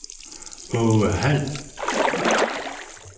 Aage Hald